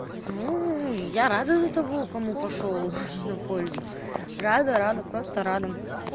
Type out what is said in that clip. мм я рада за того кому пошёл в пользу рада рада просто рада